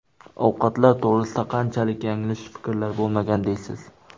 Ovqatlar to‘g‘risida qanchalik yanglish fikrlar bo‘lmagan deysiz.